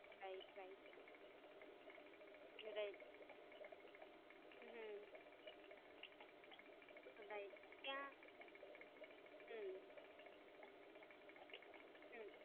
Right, right hmm ત્યાં hmm, હમમમ,